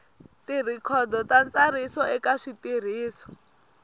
tirhikhodo ta ntsariso eka switirhiso